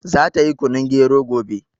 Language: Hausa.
Za ta yi kunun gero gobe